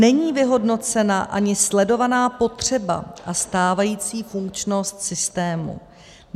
Není vyhodnocena ani sledovaná potřeba a stávající funkčnost systému.